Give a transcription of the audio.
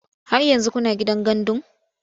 Har yanzu kuna gidan gandun?